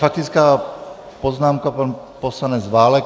Faktická poznámka - pan poslanec Válek.